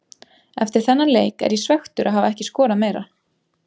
Eftir þennan leik er ég svekktur að hafa ekki skorað meira.